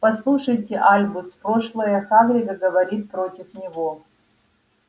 послушайте альбус прошлое хагрида говорит против него